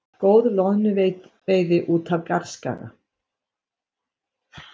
Góð loðnuveiði út af Garðskaga